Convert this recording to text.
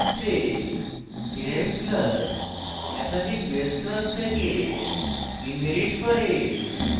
এক্ষেত্রে derived class একাধিক base class থেকে inherits করে